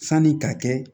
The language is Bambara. Sanni ka kɛ